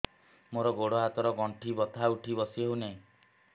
ମୋର ଗୋଡ଼ ହାତ ର ଗଣ୍ଠି ବଥା ଉଠି ବସି ହେଉନାହିଁ